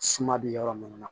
Suma bɛ yɔrɔ minnu na